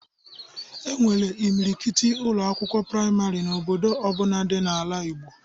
E nwere imilikiti Ụlọ akwụkwọ praịmarị n'obodo ọbụna dị n'ala Igbo